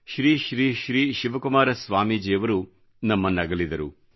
Shri Shri Shri Shivakumara Swamiji ನಮ್ಮನ್ನಗಲಿದರು